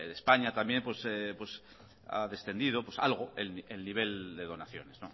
de españa también ha descendido algo el nivel de donaciones